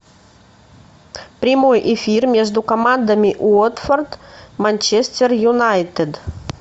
прямой эфир между командами уотфорд манчестер юнайтед